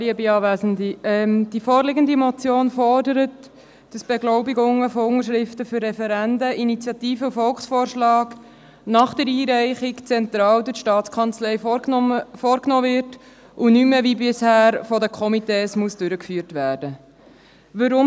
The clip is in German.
Die vorliegende Motion fordert, dass Beglaubigungen von Unterschriften für Referenden, Initiativen und Volksvorschlägen nach der Einreichung zentral durch die STA vorgenommen werden, und nicht mehr wie bisher von den Komitees durchgeführt werden müssen.